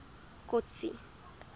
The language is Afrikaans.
kotsi